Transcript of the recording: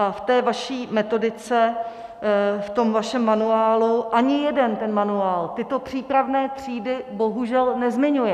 A v té vaší metodice, v tom vašem manuálu ani jeden ten manuál tyto přípravné třídy bohužel nezmiňuje.